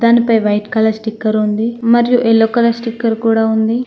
దానిపై white colour sticker ఉంది మరియు యెల్లో కలర్ స్టిక్కర్ కూడా ఉంది.